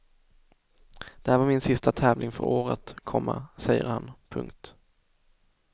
Det här var min sista tävling för året, komma säger han. punkt